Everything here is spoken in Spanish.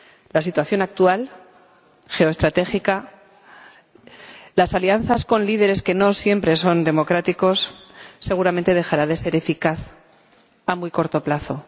La situación actual geoestratégica —las alianzas con líderes que no siempre son democráticos— seguramente dejará de ser eficaz a muy corto plazo.